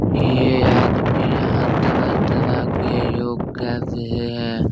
ये आदमी यहाँ तरह-तरह के योग कर रहे हैं।